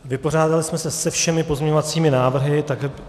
Vypořádali jsme se se všemi pozměňovacími návrhy.